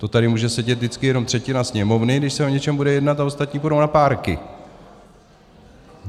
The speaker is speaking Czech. To tady může sedět vždycky jenom třetina Sněmovny, když se o něčem bude jednat, a ostatní půjdou na párky.